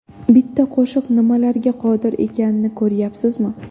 Bitta qo‘shiq nimalarga qodir ekanini ko‘ryapsizmi?